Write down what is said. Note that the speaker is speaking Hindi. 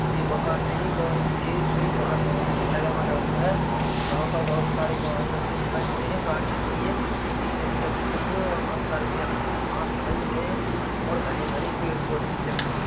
ये मकान नहीं बह ये कोई महाविश्व विद्यालय बना हुआ है वहाँ पर बहुत सारे वाहन रखे हुए दिखाई दे रही गाड़ी रखी है जीपे भी रखी हुई है और बहुत सारे व्यक्ति भी वहाँ दिखाई दे रहे है और घने घने पेड़ पौधे भी लगे हुए